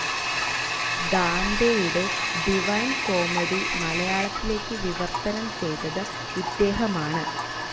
ദാന്തെയുടെ divine comedy മലയാളത്തിലേക്ക് വിവർത്തനം ചെയ്തത് ഇദ്ദേഹമാണ്.